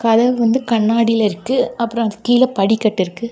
கதவு வந்து கண்ணாடில இருக்கு அப்புறம் கீழ படிக்கட்டு இருக்கு.